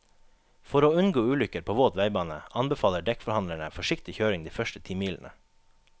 For å unngå ulykker på våt veibane, anbefaler dekkforhandlerne forsiktig kjøring de første ti milene.